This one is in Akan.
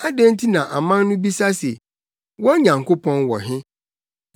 Adɛn nti na aman no bisa se, “Wɔn Nyankopɔn wɔ he?”